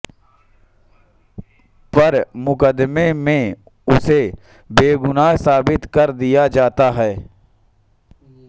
पर मुक़दमे में उसे बेगुनाह साबित कर दिया जाता है